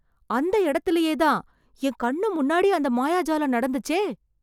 அந்த இடத்துலயே தான், என் கண்ணு முன்னாடி அந்த மாயஜாலம் நடத்துச்சே